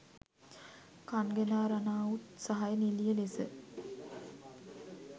කන්ගනා රනාවුට් සහය නිළිය ලෙස